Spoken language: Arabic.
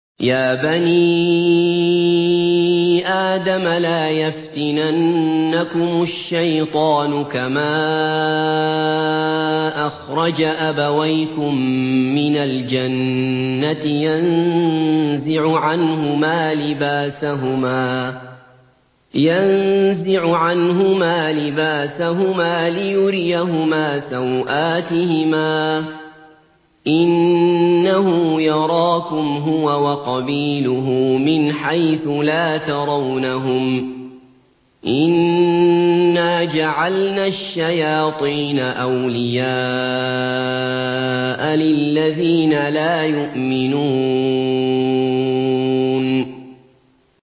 يَا بَنِي آدَمَ لَا يَفْتِنَنَّكُمُ الشَّيْطَانُ كَمَا أَخْرَجَ أَبَوَيْكُم مِّنَ الْجَنَّةِ يَنزِعُ عَنْهُمَا لِبَاسَهُمَا لِيُرِيَهُمَا سَوْآتِهِمَا ۗ إِنَّهُ يَرَاكُمْ هُوَ وَقَبِيلُهُ مِنْ حَيْثُ لَا تَرَوْنَهُمْ ۗ إِنَّا جَعَلْنَا الشَّيَاطِينَ أَوْلِيَاءَ لِلَّذِينَ لَا يُؤْمِنُونَ